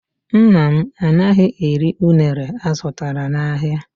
Nna m anaghị eri unere azụtara n'ahịa.